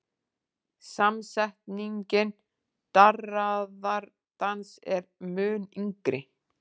Samsetningin darraðardans er mun yngri.